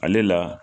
Ale la